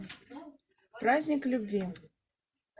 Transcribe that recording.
праздник любви